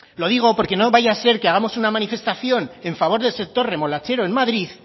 lo digo porque no vaya a ser que hagamos una manifestación en favor del sector remolachero en madrid